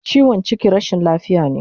Chiwon chiki rashin lafiya ne